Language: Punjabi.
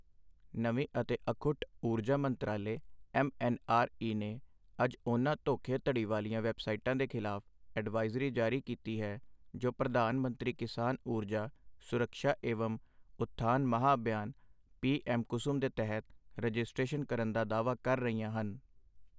ਨਵੀਂ ਅਤੇ ਅਖੁੱਟ ਊਰਜਾ ਮੰਤਰਾਲੇ ਐੱਮ ਐੱਨ ਆਰ ਈ ਨੇ ਅੱਜ ਉਨ੍ਹਾਂ ਧੋਖੇ ਧੜੀ ਵਾਲੀਆਂ ਵੈੱਬਸਾਈਟਾਂ ਦੇ ਖ਼ਿਲਾਫ਼ ਅਡਵਾਈਜ਼ਰੀ ਜਾਰੀ ਕੀਤੀ ਹੈ, ਜੋ ਪ੍ਰਧਾਨ ਮੰਤਰੀ ਕਿਸਾਨ ਊਰਜਾ ਸੁਰੱਕਸ਼ਾ ਏਵਮ ਉਥਾਨ ਮਹਾਅਭਿਆਨ ਪੀ ਐੱਮ ਕੁਸੁਮ ਦੇ ਤਹਿਤ ਰਜਿਸਟ੍ਰੇਸ਼ਨ ਕਰਨ ਦਾ ਦਾਅਵਾ ਕਰ ਰਹੀਆਂ ਹਨ।